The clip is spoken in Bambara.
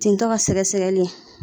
Tentɔ ka sɛgɛsɛgɛli.